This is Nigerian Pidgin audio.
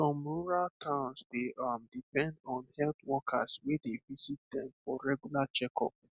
some rural towns dey um depend on health workers wey dey visit dem for regular checkup